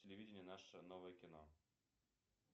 телевидение наше новое кино